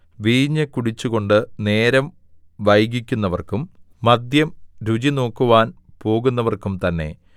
വീഞ്ഞു കുടിച്ചുകൊണ്ട് നേരം വൈകിക്കുന്നവർക്കും മദ്യം രുചിനോക്കുവാൻ പോകുന്നവർക്കും തന്നെ